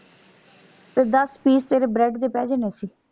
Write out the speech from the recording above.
ਤੇ ਦੱਸ piece ਤੇਰੇ bread ਦੇ ਪੈ ਜਾਣੇ ਸੀ।